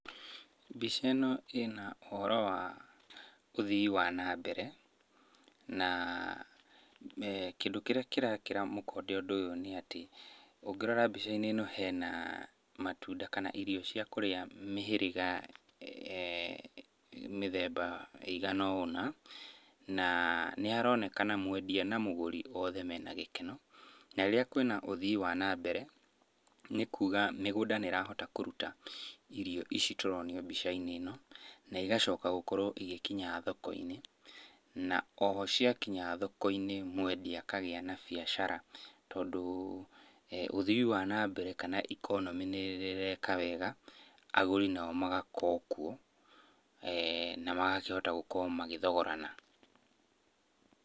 Mbica ĩno ĩ na ũhoro wa ũthii wa na mbere na kĩndũ kĩrĩa kĩrekĩra mũkonde ũndũ ũyũ nĩ atĩ, ũngĩrora mbica-inĩ ĩno hena irio cia kũrĩa mĩhĩrĩga mĩthemba ĩigana o ũna. Na nĩ haronekana mwendia na mũgũri othe mena gĩkeno. Na rĩrĩa kũrĩ na ũthii wa nambere, nĩ kuga mĩgũnda nĩrahota kũruta irio ici tũronio mbica-inĩ ĩno, na igacoka gũkorwo igĩkinya thoko-inĩ na o ho ciakinya thoko-inĩ mwendia akagĩa na biacara. Tondũ ũthii wa nambere kana economy nĩĩreka wega, agũri nao magakorwo kuo, namakahota gũkorwo magĩthogorana.